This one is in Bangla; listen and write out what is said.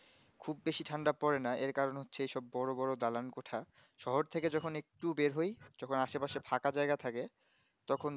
খুব বেশি ঠান্ডা পড়েনা আর কারণ হচ্ছে বোরো বোরো দালান কুঠা শহর থেকে যখন একটু বের হয় যখন আসে পাশে ফাঁকা জায়গা থাকে তখন